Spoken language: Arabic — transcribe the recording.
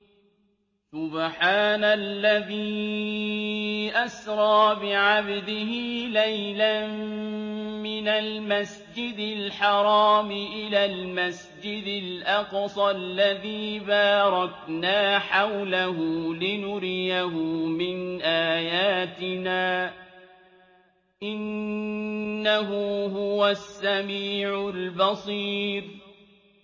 سُبْحَانَ الَّذِي أَسْرَىٰ بِعَبْدِهِ لَيْلًا مِّنَ الْمَسْجِدِ الْحَرَامِ إِلَى الْمَسْجِدِ الْأَقْصَى الَّذِي بَارَكْنَا حَوْلَهُ لِنُرِيَهُ مِنْ آيَاتِنَا ۚ إِنَّهُ هُوَ السَّمِيعُ الْبَصِيرُ